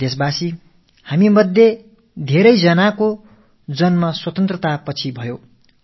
எனதருமை நாட்டுமக்களே நம்மில் பலர் நாடு விடுதலை அடைந்த பிறகு பிறந்திருப்பார்கள்